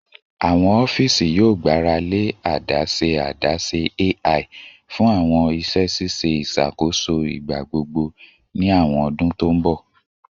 Awọn ọfiisi yoo gbarale adaṣe adaṣe AI fun awọn iṣẹ ṣiṣe iṣakoso igbagbogbo ni awọn ọdun to n bọ